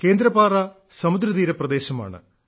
Kendrapara സമുദ്രതീരപ്രദേശമാണ്